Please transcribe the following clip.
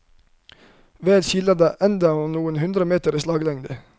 Vel skiller det endra noen hundre meter i slaglengde.